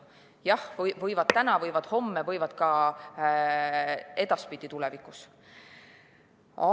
Jah, võivad, täna võivad, homme võivad, ka edaspidi, tulevikus võivad.